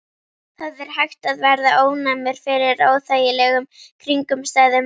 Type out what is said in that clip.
Það er hægt að verða ónæmur fyrir óþægilegum kringumstæðum.